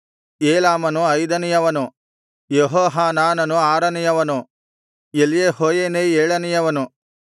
ಏಲಾಮನು ಐದನೆಯವನು ಯೆಹೋಹಾನಾನನು ಆರನೆಯವನು ಎಲ್ಯೆಹೋಯೇನೈ ಏಳನೆಯವನು